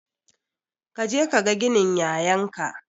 Kaje kaga ginin yayan ka